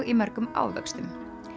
í mörgum ávöxtum